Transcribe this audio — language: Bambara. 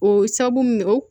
O sabu